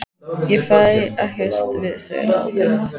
Ég fæ ekkert við þau ráðið.